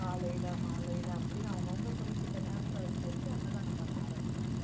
காலையில மாலையில அப்படின்னு அவங்கவங்க குறிப்பிட்ட நேரத்தில வச்சு வச்சு அன்னதானம் பண்ண ஆரம்பிப்பாங்க